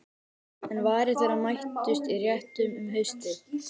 En varir þeirra mættust í réttum um haustið.